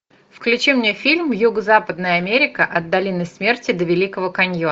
включи мне фильм юго западная америка от долины смерти до великого каньона